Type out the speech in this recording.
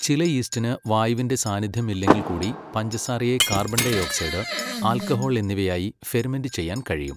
ചില യീസ്റ്റിന് വായുവിന്റെ സാന്നിദ്ധ്യം ഇല്ലെങ്കിൽ കൂടി പഞ്ചസാരയെ കാർബൺഡൈഓക്സൈഡ്, ആൽക്കഹോൾ എന്നിവയായി ഫെർമെന്റ് ചെയ്യാൻ കഴിയും.